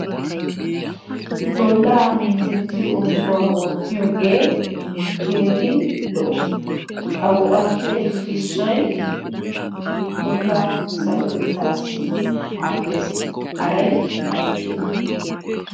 Bollaa minttettiyo oosuwaa oottiyoogee keehi lo"o. A go'aappe issoy bollaa sarotettaassi maaddes. Haray aybee?